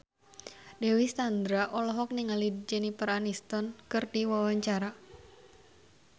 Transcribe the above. Dewi Sandra olohok ningali Jennifer Aniston keur diwawancara